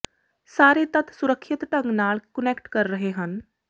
ਸਾਰੇ ਤੱਤ ਸੁਰੱਖਿਅਤ ਢੰਗ ਨਾਲ ਕੁਨੈਕਟ ਕਰ ਰਹੇ ਹਨ